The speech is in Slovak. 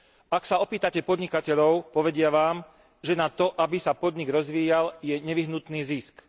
Ak sa opýtate podnikateľov, povedia vám, že na to, aby sa podnik rozvíjal, je nevyhnutný zisk.